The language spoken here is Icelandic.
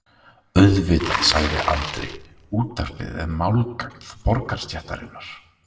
Auðvitað, sagði Andri, útvarpið er málgagn borgarastéttarinnar.